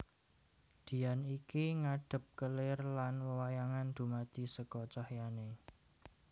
Dian iki ngadhep kelir lan wewayangan dumadi seka cahyané